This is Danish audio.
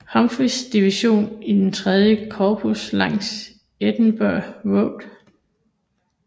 Humphreyss division i III Korps langs Emmitsburg Road